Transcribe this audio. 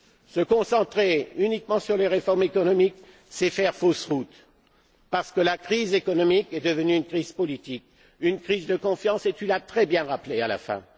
Se concentrer uniquement sur les réformes économiques, c'est faire fausse route parce que la crise économique est devenue une crise politique, une crise de confiance et tu l'as très bien rappelé à la fin.